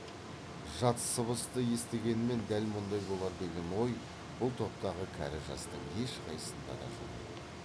жат сыбысты естігенмен дәл мұндай болар деген ой бұл топтағы кәрі жастың ешқайсысында да жоқ еді